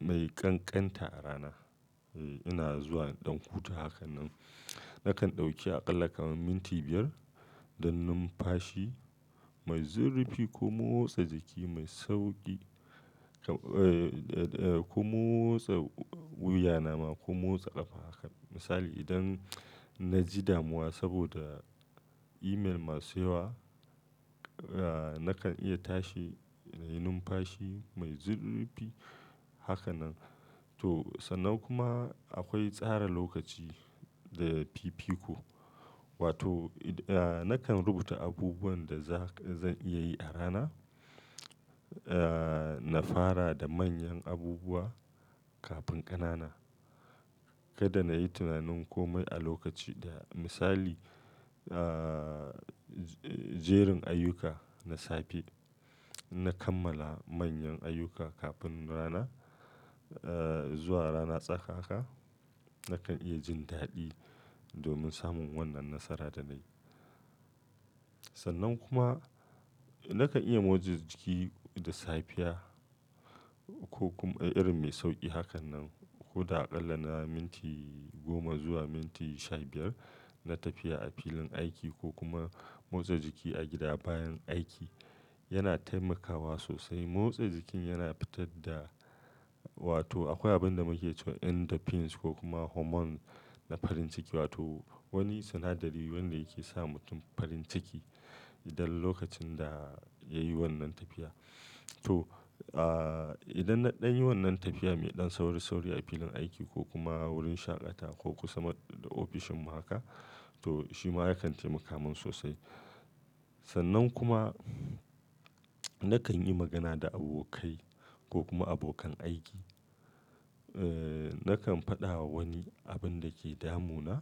mai ƙanƙanta a rana. Eee, ina zuwa ɗan hutu hakan nan. Nakan ɗauki aƙalla kamar minti biyar don numfashi mai zurfi ko motsa jiki mai sauƙi kamar, ee, da, da ko motsa wuya na ma ko motsa ƙafa haka. Misali idan na ji damuwa saboda email masu yawa, ee nakan iya tashi na yi numfashi mai zurfi haka nan. To sannan kuma akwai tsara lokaci da fifiko. Wato idan, ee nakan rubuta abubuwan da za, zan iya yi a rana. Eeee, na fara da manyan abubuwa kafin ƙanana. Kada na yi tunanin kome a lokaci ɗaya. Misali, ee, jerin ayyuka na safe. In na kammala manyan ayyuka kafin rana. Eeee, zuwa rana tsakaka nakan iya jin daɗi domin samun wannan nasara da na yi. Sannan kuma nakan iya motsa jiki da safiya ko kuma irin mai sauƙi hakan nan. Ko da aƙalla na minti goma zuwa minti sha biyar na tafiya a filin aiki ko kuma motsa jiki a gida bayan aiki yana taimakawa sosai. Motsa jikin yana fitar da wato akwai abin da muke ce wa endorphins ko kuma hormon na farin ciki. Wato wani sinadari wanda yake sa mutum farin ciki idan lokacin da yayi wannan tafiya. To, aa idan na, ɗanyi wannan tafiya mai ɗan sauri-sauri a filin aiki ko kuma wurin shaƙatawa ko kuma ofishin mu haka to shi ma yakan taimaka min sosai. Sannan kuma nakan yi magana da abokai ko kuma abokan aiki. Eeee, nakan faɗa wa wani abin da ke damu na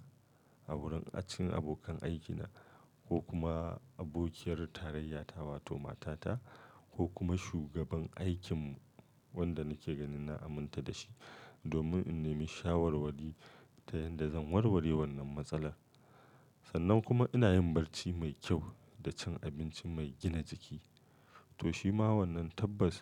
a wurin acin abokan aikina ko kuma abokiyar tarayyata wato matata ko kuma shugaban aikinmu wanda nake ganin na aminta da shi domin in nemi shawarwari yanda zan warware wannan matsala. Sannan kuma ina yin barci mai kyau da cin abinci mai gina jiki. To shi ma wannan tabbas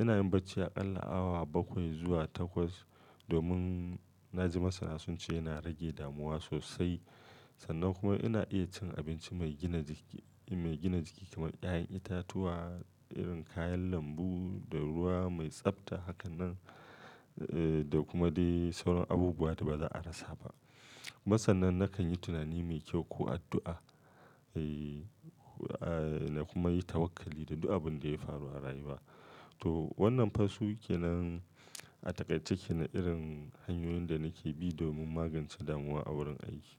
ina yin barci aƙalla awa bakwai zuwa takwas domin na ji masana sunce yana rage damuwa sosai. Sannan kuma ina iya cin abinci mai gina jiki, mai gina jiki kamar ƴaƴan itatuwa, irin kayan lambu da ruwa mai tsafta. Hakan nan, ee da kuma dai sauran abubuwa da ba za a rasa ba. Masannan nakan yi tunani mai kyau ko addu'a. Eeee, aa na kuma yi tawakkali da duk abin da ya faru a rayuwa. To wannan fa su kenan a taƙaice kenan irin hanyoyin da nake bi domin magance damuwa a wurin aiki.